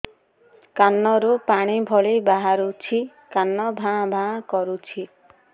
କାନ ରୁ ପାଣି ଭଳି ବାହାରୁଛି କାନ ଭାଁ ଭାଁ କରୁଛି